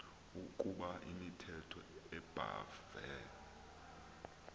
ukoba imithetho ebhahve